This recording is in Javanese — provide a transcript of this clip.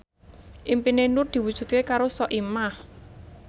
impine Nur diwujudke karo Soimah